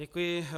Děkuji.